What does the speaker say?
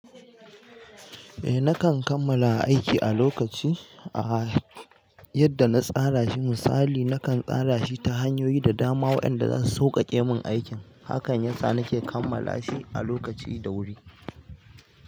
Eh nakan kammala aiki a lokaci, ah yadda na tsara shi misali nakan tsara shi ta hanyoyi da dama wa'yanda zasu sauƙaƙe mun aikin, hakan yasa nake kammala shi a lokaci da wuri.